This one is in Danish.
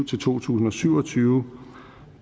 til to tusind og syv og tyve